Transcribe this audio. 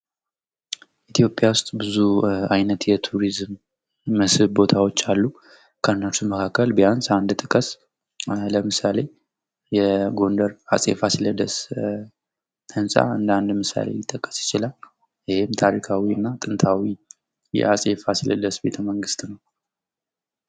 ኢትዮጵያ ውስጥ ብዙ አይነት የቱሪዝም መስህብ ቦታዎች አሉ። ከነሱ መካከል ቢያንስ አንድ ጥቀስ። ለምሳሌ የጎንደር አጼ ፋሲለደስ ህንጻ እንደአንድ ምሳሌ ሊጠቀስ ይችላል። ይህም ታሪካዊ እና ጥንታዊ የአጼ ፋሲለደስ ቤተመንግስት ነው።